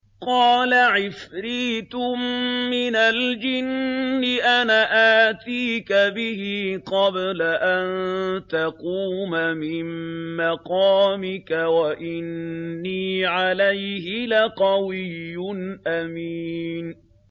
قَالَ عِفْرِيتٌ مِّنَ الْجِنِّ أَنَا آتِيكَ بِهِ قَبْلَ أَن تَقُومَ مِن مَّقَامِكَ ۖ وَإِنِّي عَلَيْهِ لَقَوِيٌّ أَمِينٌ